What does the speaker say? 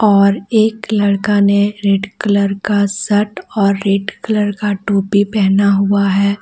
और एक लड़का ने रेड कलर का सर्ट और रेड कलर का टोपी पहना हुआ है।